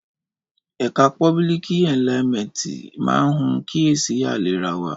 Ẹkà pòbílìkí ẹlíàmẹtí mà hún kíyèsí àlẹràwa